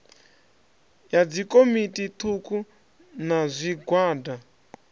ya dzikomiti thukhu na zwigwada